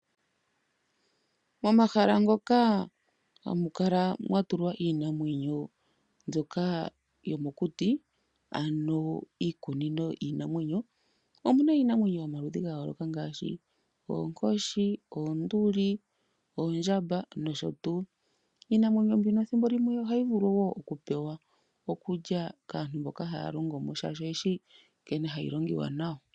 Momahala moka hamu kala mwa tulwa iinamwenyo mbyoka yomokuti ano iikunino yiinamwenyo. Omuna iinamwenyo yomaludhiga yooloka ngaashi oonkoshi, oonduli, oondjamba nosho tuu. Iinamwenyo mbino thimbo limwe ohayi vulu wo oku pewa okulya kaantu mboka haya longo mo, shaashi oyeshi nkene hayi longiwa nayo.